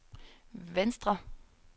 venstre